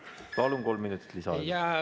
Palun, kolm minutit lisaaega.